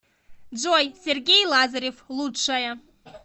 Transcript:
джой сергей лазарев лучшая